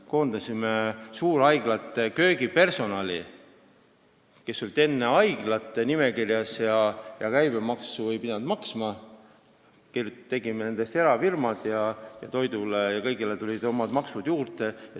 Me koondasime suurhaiglate köögipersonali, kes olid enne haiglate nimekirjas, siis ei pidanud käibemaksu maksma, me tegime seal erafirmad ning toidule ja kõigele tulid omad maksud juurde.